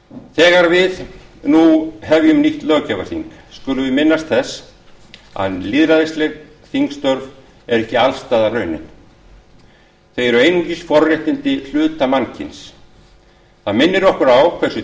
þegar við nú hefjum nýtt löggjafarþing skulum við minnast þess að lýðræðisleg þingstörf eru ekki allsstaðar raunin þau eru einungis forréttindi hluta mannkyns það minnir okkur á